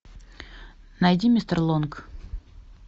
найди мистер лонг